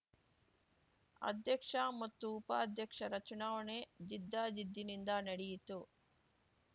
ಅಧ್ಯಕ್ಷ ಮತ್ತು ಉಪಾಧ್ಯಕ್ಷರ ಚುನಾವಣೆ ಜಿದ್ದಾಜಿದ್ದಿನಿಂದ ನಡೆಯಿತು